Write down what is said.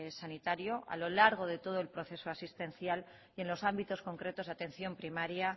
sanitario a lo largo de todo el proceso asistencial y en los ámbitos concretos de atención primaria